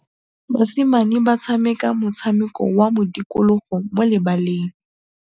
Basimane ba tshameka motshameko wa modikologô mo lebaleng.